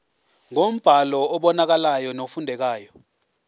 ngombhalo obonakalayo nofundekayo